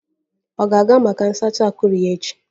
Ọ ga-aga maka nsacha akụrụ echi?